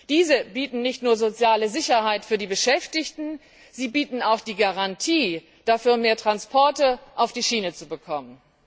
Diese bieten nicht nur soziale Sicherheit für die Beschäftigten, sie bieten auch die Garantie, dafür mehr Transporte auf die Schiene zu bekommen.